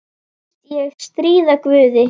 Finnst ég stríða guði.